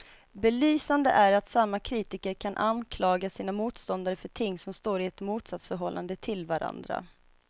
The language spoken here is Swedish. Belysande är att samma kritiker kan anklaga sina motståndare för ting som står i ett motsatsförhållande till varandra.